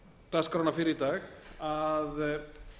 dagskrána fyrr í dag að